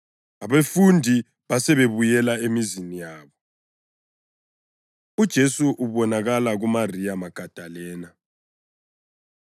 Abafundi basebebuyela emizini yabo. UJesu Ubonakala KuMariya Magadalena